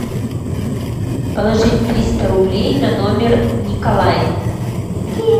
положить триста рублей на номер николай